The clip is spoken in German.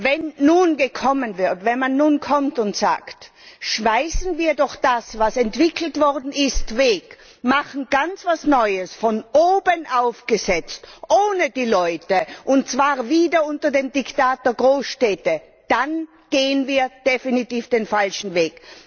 Wenn man nun kommt und sagt Werfen wir doch das, was entwickelt worden ist, weg, und machen etwas ganz Neues, von oben aufgesetzt, ohne die Leute, und zwar wieder unter dem Diktat der Großstädte, dann gehen wir definitiv den falschen Weg!